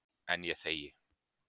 En ég þegi.